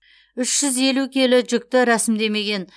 үш жүз елу келі жүкті рәсімдемеген